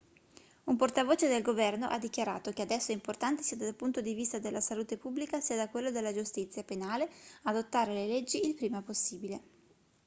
un portavoce del governo ha dichiarato che adesso è importante sia dal punto di vista della salute pubblica sia da quello della giustizia penale adottare le leggi il prima possibile